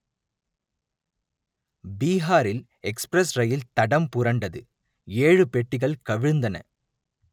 பீகாரில் எக்ஸ்பிரஸ் ரயில் தடம் புரண்டது ஏழு பெட்டிகள் கவிழ்ந்தன